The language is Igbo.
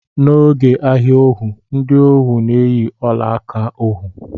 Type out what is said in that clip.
N'oge ahia ohu, ndị ohu na-eyi ọla aka ohu